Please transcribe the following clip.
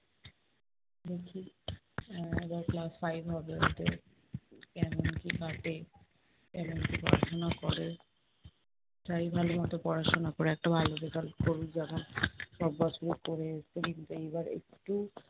আহ এবার class five হবে ওদের যেমনটি পড়াশোনা করে, চাই ভালোমত পড়াশোনা করে একটা ভালো result করুক। যেমন সব বছরই করে এসেছে, কিন্তু এইবার একটু